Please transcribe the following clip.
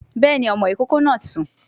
Béèni, ọmọ ìkókó náà ti sùn